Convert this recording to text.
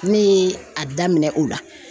Ne ye a daminɛ o la